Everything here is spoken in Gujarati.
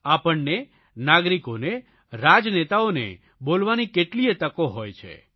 આપણને નાગરિકોને રાજનેતાઓને બોલવાની કેટલીયે તકો હોય છે